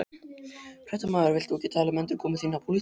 Fréttamaður: Þú vilt ekki tala um endurkomu þína í pólitík?